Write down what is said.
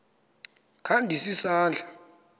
kha ndise isandla